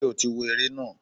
Ṣé o tí wo ere na?